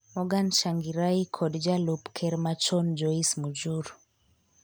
Morgan Tsvangirai kod Jalup ker machon Joice Mujuru